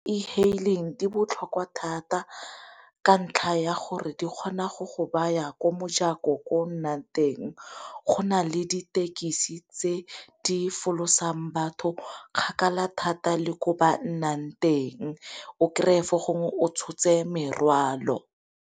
E-haling di botlhokwa thata ka ntlha ya gore di kgona go go ba ya ko mojako ko nnang teng go nale ditekisi tse di folosang batho kgakala thata le ko ba nnang teng o kry-e fo gongwe o tshotse merwalo.